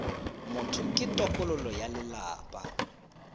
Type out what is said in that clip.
motho ke tokololo ya lelapa